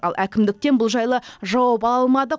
ал әкімдіктен бұл жайлы жауап ала алмадық